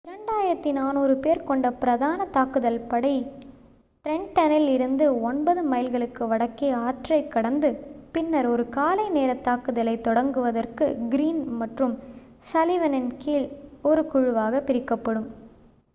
2,400 பேர் கொண்ட பிரதான தாக்குதல் படை ட்ரென்ட்டனில் இருந்து ஒன்பது மைல்களுக்கு வடக்கே ஆற்றைக் கடந்து பின்னர் ஒரு காலை நேரத் தாக்குதலைத் தொடங்குவதற்கு கிரீன் மற்றும் சல்லிவனின் கீழ் ஒரு குழுவாகப் பிரிக்கப்படும்